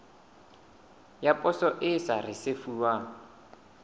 ya poso e sa risefuwang